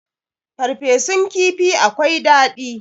farfesun kifi akwai dadi